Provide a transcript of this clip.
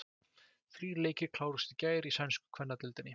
Þrír leikir kláruðust í gær í sænsku kvennadeildinni.